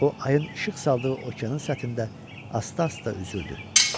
O ayın işıq saldığı okeanın səthində asta-asta üzürdü.